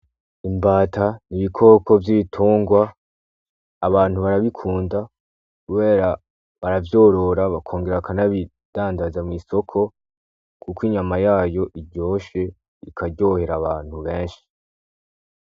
Imbata niibikoko vy'itungwa abantu barabikunda kubera baravyorora bakongera bakanabidandaza mw'isoko, kuko inyama yayo iryoshe ikaryohera abantu benshi.